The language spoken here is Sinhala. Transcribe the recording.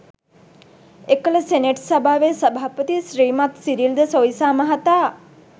එකල සෙනෙට් සභාවේ සභාපති ශ්‍රීමත් සිරිල් ද සොයිසා මහතා